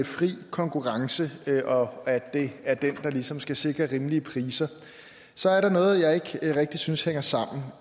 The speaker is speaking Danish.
fri konkurrence og at det er den der ligesom skal sikre rimelige priser så er der noget jeg ikke rigtig synes hænger sammen